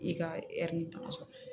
I ka tamasɛn